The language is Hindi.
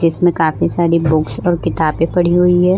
जिसमें काफी सारी बुक्स और किताबें पड़ी हुई है।